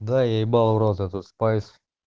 да я ебал в рот этот спайс